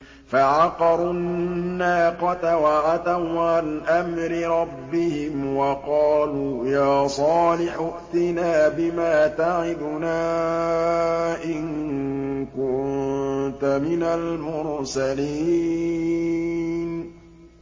فَعَقَرُوا النَّاقَةَ وَعَتَوْا عَنْ أَمْرِ رَبِّهِمْ وَقَالُوا يَا صَالِحُ ائْتِنَا بِمَا تَعِدُنَا إِن كُنتَ مِنَ الْمُرْسَلِينَ